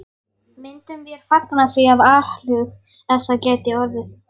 Myndum vér fagna því af alhug, ef það gæti orðið.